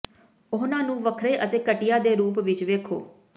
ਉਹਨਾਂ ਨੂੰ ਵੱਖਰੇ ਅਤੇ ਘਟੀਆ ਦੇ ਰੂਪ ਵਿੱਚ ਵੇਖੋ